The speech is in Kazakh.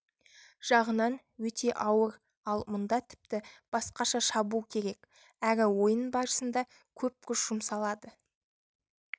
жағынан өте ауыр ал мұнда тіпті басқаша шабу керек әрі ойын барысында көп күш жұмсалады